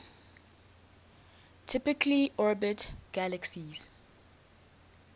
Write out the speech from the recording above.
typically orbit galaxies